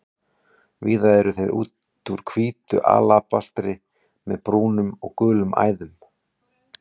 Víða eru þeir úr hvítu alabastri með brúnum og gulum æðum.